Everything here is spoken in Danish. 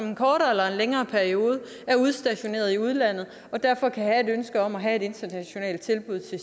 en kortere eller længere periode er udstationeret i udlandet og derfor kan have et ønske om at have et internationalt tilbud til